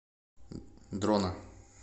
дрона